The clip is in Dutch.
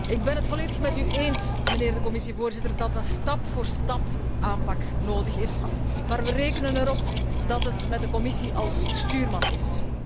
Ik ben het volledig met u eens, meneer de Commissievoorzitter, dat een stap voor stapaanpak nodig is, maar we rekenen erop dat het met de Commissie als stuurman is.